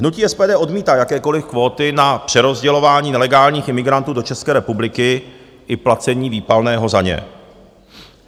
Hnutí SPD odmítá jakékoliv kvóty na přerozdělování nelegálních imigrantů do České republiky i placení výpalného za ně.